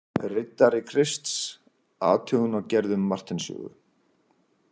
Riddari Krists: athugun á gerðum Marteins sögu.